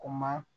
Kuma